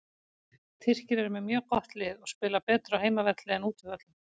Tyrkir eru með mjög gott lið og spila betur á heimavelli en útivöllum.